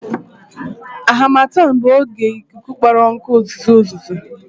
Harmattan bụ oge ikuku kpọrọ nkụ, uzuzu uzuzu